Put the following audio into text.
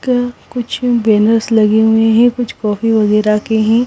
का कुछ बैनर्स लगे हुए हैं कुछ कॉफी वगैरह के हैं।